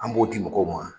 An b'o di mɔgɔw ma